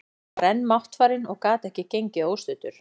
Hann var enn máttfarinn og gat ekki gengið óstuddur.